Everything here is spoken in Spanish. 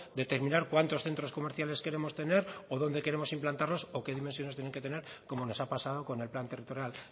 determinar cuántos centros comerciales queremos tener o dónde queremos implantarlos o qué dimensiones tienen que tener como nos ha pasado con el plan territorial